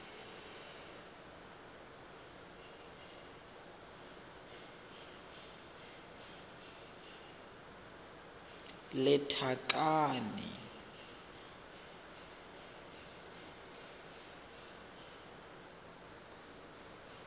lethakane